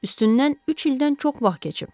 Üstündən üç ildən çox vaxt keçib.